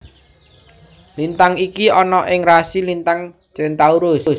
Lintang iki ana ing rasi lintang Centaurus